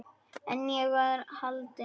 En ég var haldin.